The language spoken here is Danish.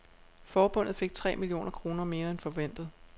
Forbundet fik tre millioner kroner mere end forventet.